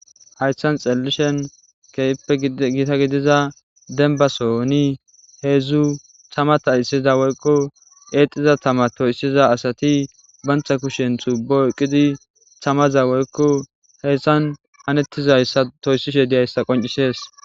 Haysan xeelishn keehippe gita gidiza demba sohon, hedzdzu tama xaysiza woyko exiza tama toysuza asati banta kushen tubo oyqid tamaza woyko haysan hanetizaysa toysishe dizaysa qoncises